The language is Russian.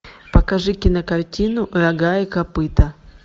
покажи кинокартину рога и копыта